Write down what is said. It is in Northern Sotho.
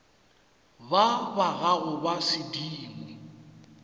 ba ba gago ba sedimo